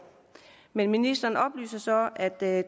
men ministeren oplyser så at det